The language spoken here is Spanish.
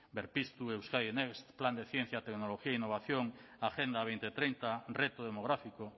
berpiztu euskadi next plan de ciencia tecnología e innovación agenda dos mil treinta reto demográfico